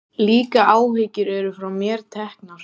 Líka áhyggjur eru frá mér teknar.